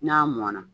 N'a mɔnna